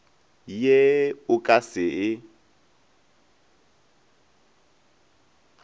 ye o ka se e